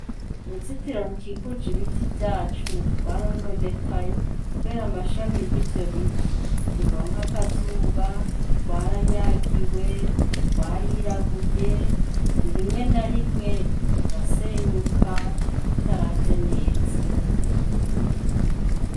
Uruzitiro rukikuje ibiti vyacu rwarononekaye kubera amashami y'ivyo biti, ntiruronka akazuba, rwaranyagiwe, rwarirabuye, rimwe na rimwe rugasenyuka rutaravye neza.